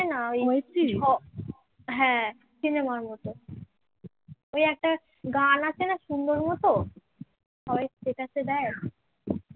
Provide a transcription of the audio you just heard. গান আছে না সুন্দর মত সবাই status এ দেয়